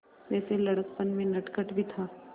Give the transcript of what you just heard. वैसे लड़कपन में नटखट भी था